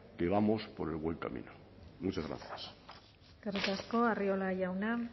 que vamos por buen camino muchas gracias eskerrik asko arriola jauna